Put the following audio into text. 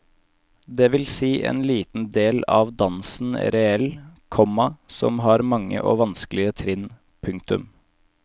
Det vil si en liten del av dansen reel, komma som har mange og vanskelige trinn. punktum